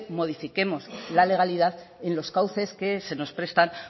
modifiquemos la legalidad en los cauces que se nos prestan